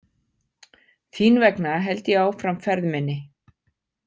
Þín vegna held ég áfram ferð minni.